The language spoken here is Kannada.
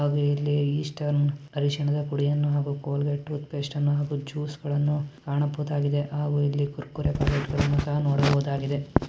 ಹಾಗು ಇಲ್ಲಿ ಈಸ್ಟರ್ನ್ ಹರಿಶಿನದ ಪುಡಿ ಹಾಗು ಕೊಲ್ಗೇಟ್ ಟೂತ್ಪೇಸ್ಟ್ ಅನ್ನ ಹಾಗು ಜ್ಯೂಸು ಗಳನ್ನೂ ಕಾಣಬಹುದಾಗಿದೆ ಹಾಗು ಇಲ್ಲಿ ಕುರ್ಕುರೆ ಪ್ಯಾಕೆಟ್ಸ್ ಗಳನ್ನ ನೋಡಬಹುದಾಗಿದೆ --